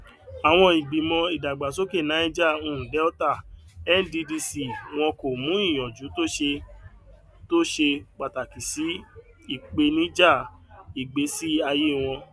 àwọn ìgbìmọ ìdàgbàsókè niger um delta nddc wọn kò mú ìyànjú tó ṣe tó ṣe pàtàkì sí ìpènijà ìgbésí ayé wọn